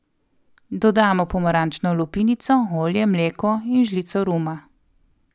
Dodamo pomarančno lupinico, olje, mleko in žlico ruma.